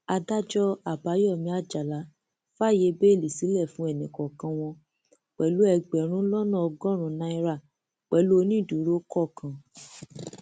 adájọ àbáyọmí àjàlá fàáyé bẹẹlí sílẹ fún ẹnìkọọkan wọn pẹlú ẹgbẹrún lọnà ọgọrùnún náírà pẹlú onídùúró kọọkan